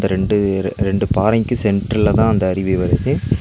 ரெண்டு ரெண்டு பாறைக்கு சென்டர்லதா அந்த அருவி வருது.